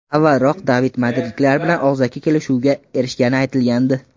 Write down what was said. Avvalroq David madridliklar bilan og‘zaki kelishuvga erishgani aytilgandi.